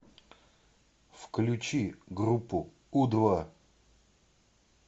включи группу у два